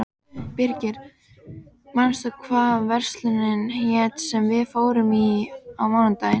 Birgir, manstu hvað verslunin hét sem við fórum í á mánudaginn?